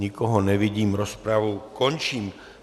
Nikoho nevidím, rozpravu končím.